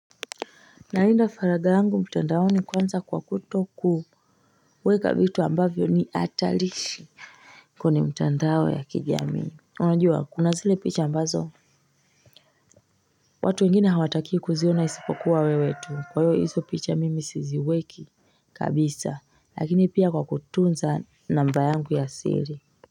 Naenda faradha angu mtandao kwanza kwa kutoku weka vitu ambavyo ni atalishi Kone mtandao ya kijami Unajua kuna zile picha ambazo watu wengine hawatakiwi kuziona isipokuwa wewe tu kwaiyo iso picha mimi siziweki kabisa lakini pia kwa kutunza namba yangu ya siri.